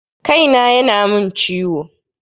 Kai na ya na mun ciwo